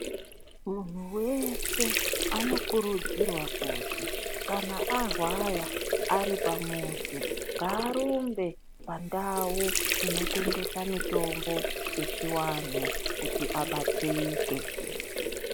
Muntuweshe anokurudzirwa kuti kana arwaya , aripamuzi ngarumbe pandawo inotengesa mitombo echiwanhu kuti abatsirike.